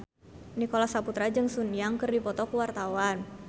Nicholas Saputra jeung Sun Yang keur dipoto ku wartawan